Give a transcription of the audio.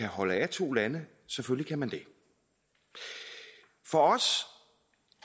holde af to lande selvfølgelig kan man det for os